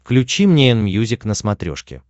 включи мне энмьюзик на смотрешке